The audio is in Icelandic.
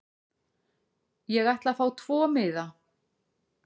Ég ætla að fá tvo miða.